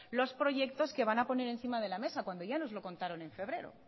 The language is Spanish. los proyectos que van a poner encima de la mesa cuando ya nos lo contaron en febrero